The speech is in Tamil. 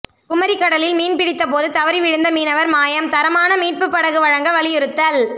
குமரி கடலில் மீன்பிடித்தபோது தவறி விழுந்த மீனவா் மாயம் தரமான மீட்புப் படகு வழங்க வலியுறுத்தல்